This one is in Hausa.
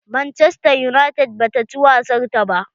Manchester United ba ta ci wasar ta ba.